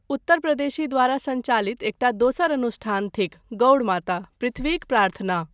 उत्तर प्रदेशी द्वारा सञ्चालित एकटा दोसर अनुष्ठान थिक गौड़ माता, पृथ्वीक प्रार्थना।